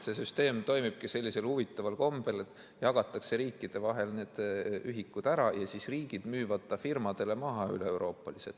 See süsteem toimibki sellisel huvitaval kombel, et need ühikud jagatakse riikide vahel ära ja siis riigid müüvad nad firmadele maha üle Euroopa.